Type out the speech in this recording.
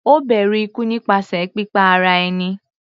Ó bẹ̀rù ikú nípasẹ̀ pípa ara ẹni.